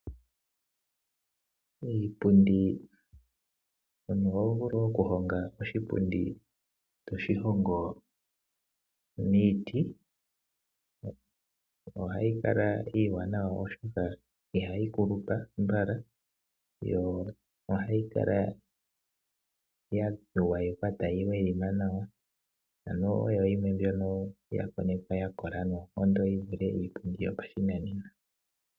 Iipundi, omuntu oho vulu oku honga oshipundi toshi hongo miiti, ohayi kala iiwanawa oshoka ihayi kulupa mbala yo ohayi kala ya gwayekwa tayi adhima nawa, ano oyo yimwe mbyono ya konekwa ya kola nawa yi vulithe iipundi yopashinanena.